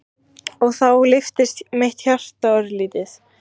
Og þá lyftist mitt hjarta örlítið.